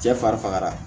Cɛ fari faga